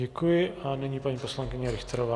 Děkuji a nyní paní poslankyně Richterová.